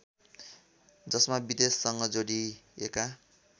जसमा विदेशसँग जोडिएका